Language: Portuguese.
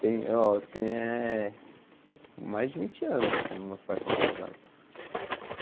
Tem, ó, tem eh... Mais de vinte anos que os meus pais são casados.